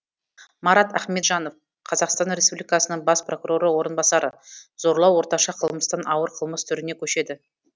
марат ахметжанов қазақстан республикасының бас прокуроры орынбасары зорлау орташа қылмыстан ауыр қылмыс түріне көшеді